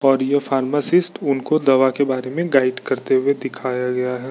--और यह फार्मासिस्ट उनको दवा के बारे में गाइड करते हुए दिखाया गया है।